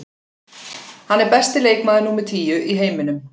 Hann er besti leikmaður númer tíu í heiminum.